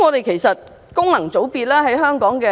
其實民主並不可怕......